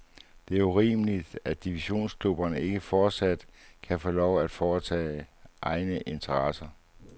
Det er urimeligt, at divisionsklubberne ikke fortsat kan få lov til at varetage egne interesser.